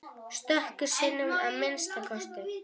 Stöku sinnum að minnsta kosti.